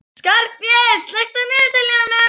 Skarphéðinn, slökktu á niðurteljaranum.